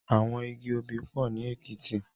Awòn igi óbì pò ni Ekiti